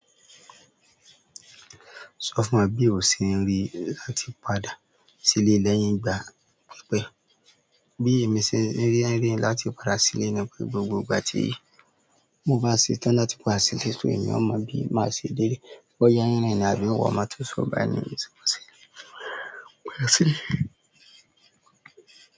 Ṣọ́fun wa bíwo ṣe ń rí àti padà sílẹ̀ lẹ́yìn ìgbà pípẹ́. Bí èmi ṣe ń rí ẹ̀rín láti padà sílẹ̀ ní o gbogbo ìgbà tí mo bá ṣetán láti pàda sile só èèyàn mo bi maa ṣe dele boya n rerin ni àbí terín ò máa tó sọ̀bà ní ìsọpọ̀ sílẹ̀.